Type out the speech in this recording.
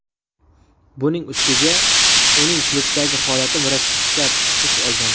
Buning ustiga uning klubdagi holati murakkab tus olgan.